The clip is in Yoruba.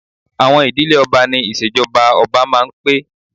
Àwọn ìdílé ọba ni ìṣèjọba ọba máa ń pé